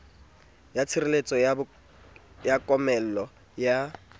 ya tshireletseho ya komello ka